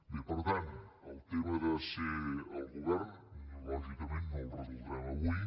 bé per tant el tema de ser al govern lògicament no el resoldrem avui